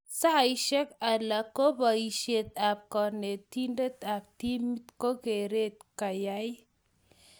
saisie alak ko boisie ab konetinde ab timit ko ngaret kayay